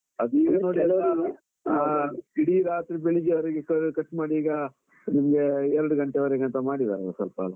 ಅದು ಈಗ ನೋಡಿ ಕೆಲವರು ಆಹ್ ಇಡೀ ರಾತ್ರಿ ಬೆಳಿಗ್ಗೆವರೆಗೆ ಕಾ cut ಮಾಡಿ ಈಗ, ನಿಮಗೆ ಎರಡ್ ಗಂಟೆವರೆಗೆ ಅಂತ ಮಾಡಿದ್ದಾರೆ ಸ್ವಲ್ಪ.